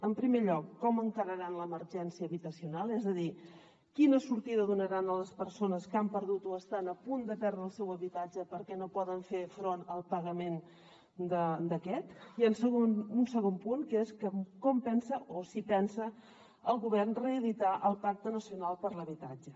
en primer lloc com encararan l’emergència habitacional és a dir quina sortida donaran a les persones que han perdut o estan a punt de perdre el seu habitatge perquè no poden fer front al pagament d’aquest i un segon punt que és com pensa o si pensa el govern reeditar el pacte nacional per l’habitatge